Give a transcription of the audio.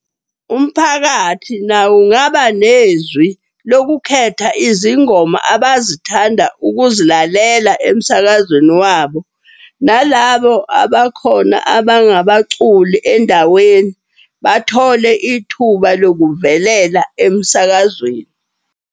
Umphakathi nawo ungaba nezwi lokukhetha izingoma abazithanda ukuzilalela emsakazweni wabo. Nalabo abakhona abangabaculi endaweni bathole ithuba lokuvelela emsakazweni.